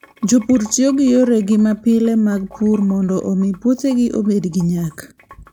Jopur tiyo gi yore mapile mag pur mondo omi puothegi obed gi nyak.